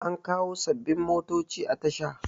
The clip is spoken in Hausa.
an kawo sababbin motoci a Tasha